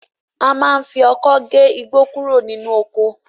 A máa ń fi ọkọ́ gé igbó kúrò nínú oko